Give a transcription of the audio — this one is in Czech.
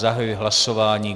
Zahajuji hlasování.